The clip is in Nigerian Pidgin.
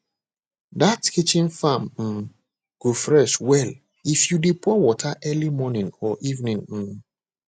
that kitchen farm um go fresh well if you dey pour water early morning or evening um